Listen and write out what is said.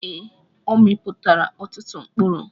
Ee, ọ mịpụtara ọtụtụ mkpụrụ.